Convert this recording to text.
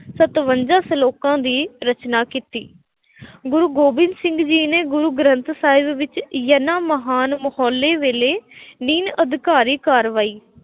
ਸਤਵੰਜ਼ਾਂ ਸਲੋਕਾਂ ਦੀ ਰਚਨਾ ਕੀਤੀ ਗੁਰੂ ਗੋਬਿੰਦ ਸਿੰਘ ਜੀ ਨੇ ਗੁਰੂ ਗ੍ਰੰਥ ਸਾਹਿਬ ਵਿੱਚ, ਇਹਨਾ ਮਹਾਨ ਹੌਲੇ ਵੇਲੇ ਕਾਰਵਾਈ